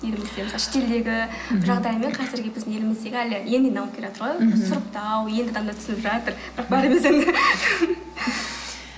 елімізде шетелдегі жағдаймен қазіргі біздің еліміздегі әлі енді енді дамып келатыр ғой сұрыптау енді ғана түсініп жатыр бірақ